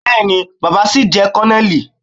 Bẹẹ̀ni, baba sìí jẹ́ kònónélì.